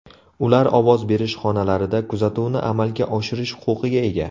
Ular ovoz berish xonalarida kuzatuvni amalga oshirish huquqiga ega.